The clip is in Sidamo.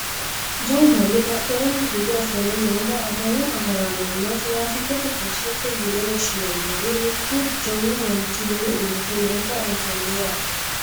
jawu manni badheenni hige ofolle noowa adawu agraanonna tiraafiikete poooliseeti yine woshshinanniri mittu jawu manchi ledo uurrite noota anafanni yaate